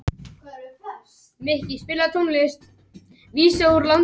Ég spilaði bara tvo bikarleiki og seinni hálfleikinn í síðasta leiknum í deildinni.